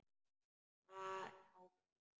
Það á vel við.